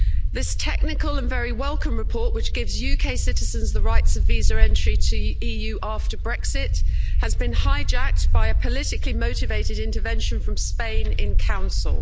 This technical and very welcome report, which gives UK citizens the rights of visa entry to the EU after Brexit, has been hijacked by a politically-motivated intervention from Spain in the Council.